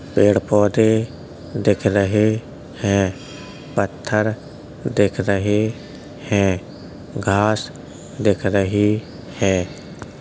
पेड़-पौधे दिख रहे हैं। पत्थर दिख रहे हैं। घास दिख रही है।